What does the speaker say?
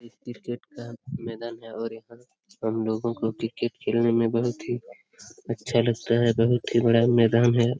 ये क्रिकेट का मैदान है और यहाँ हम लोगों को क्रिकेट खेलने में बहुत ही अच्छा लगता है। बहुत ही बड़ा मैदान है।